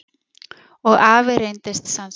Og afi reyndist sannspár.